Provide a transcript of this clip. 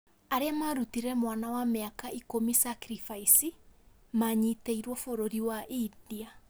Arĩa marutire mwana wa mĩaka ikumi sacrifice manyitĩrwo bũrũri wa India